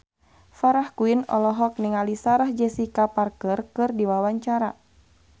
Farah Quinn olohok ningali Sarah Jessica Parker keur diwawancara